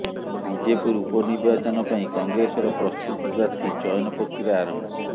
ବିଜେପୁର ଉପନିର୍ବାଚନ ପାଇଁ କଂଗ୍ରେସର ପ୍ରସ୍ତୁତି ପ୍ରାର୍ଥୀ ଚୟନ ପ୍ରକ୍ରିୟା ଆରମ୍ଭ